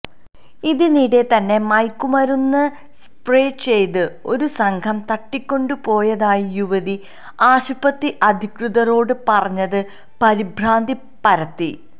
ഇതിനിടെ തന്നെ മയക്കുമരുന്ന് സ്പ്രേ ചെയ്ത് ഒരു സംഘം തട്ടിക്കൊണ്ടു പോയതായി യുവതി ആശുപത്രി അധികൃതരോട് പറഞ്ഞത് പരിഭ്രാന്തി പരത്തി